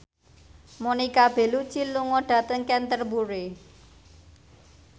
Monica Belluci lunga dhateng Canterbury